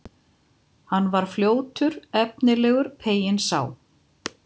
Hann var fljótt efnilegur, peyinn sá.